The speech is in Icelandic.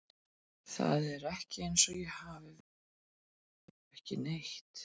Það er ekki eins og ég hafi verið að sitja og gera ekkert.